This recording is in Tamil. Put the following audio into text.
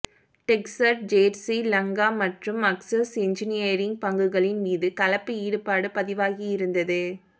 டெக்ஸ்ச்சர்ட் ஜேர்சி லங்கா மற்றும் அக்சஸ் என்ஜினியரிங் பங்குகளின் மீது கலப்பு ஈடுபாடு பதிவாகியிருந்தது